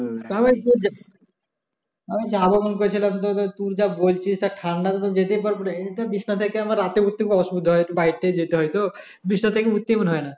তা ঐ যা আমি যাব মনে করেছিলাম তো তোর যা বলছি যা ঠাণ্ডা যেতে পারবো না রে ঐ যে বিছনা থেকে রাতে উঠতে অসুবিধা হয় বাহির টাহির যেতে হয় তো বিছনা থেকে উঠতে মনে হয় না